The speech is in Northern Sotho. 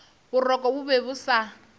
boroko bo be bo sa